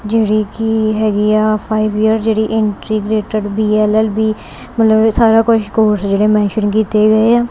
ਜਿਹੜੀ ਕੀ ਹੈਗੀ ਆ ਫਾਈਵ ਈਅਰ ਜਿਹੜੀ integrated B L L B ਮਤਲਬ ਸਾਰਾ ਕੁਝ ਕੋਰਸ ਜਿਹੜੇ ਮੈਂਸਨ ਸ਼ੁਰੂ ਕੀਤੇ ਗਏ ਆ।